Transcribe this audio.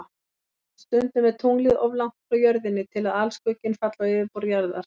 Stundum er tunglið of langt frá Jörðinni til að alskugginn falli á yfirborð Jarðar.